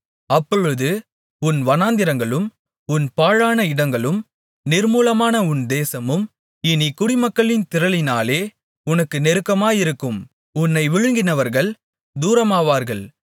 அப்பொழுது உன் வனாந்திரங்களும் உன் பாழான இடங்களும் நிர்மூலமான உன் தேசமும் இனிக் குடிமக்களின் திரளினாலே உனக்கு நெருக்கமாயிருக்கும் உன்னை விழுங்கினவர்கள் தூரமாவார்கள்